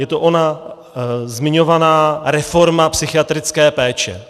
Je to ona zmiňovaná reforma psychiatrické péče.